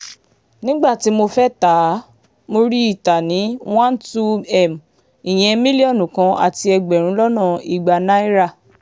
nígbà tí mo fẹ́ẹ́ tá a mọ̀ rí i ta ní 12m ìyẹn mílíọ̀nù kan àti ẹgbẹ̀rún lọ́nà ìgbà náírà